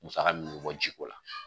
Musaka munbɛ bɔ jiko la